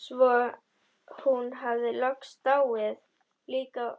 Svo hún hafði loks dáið líka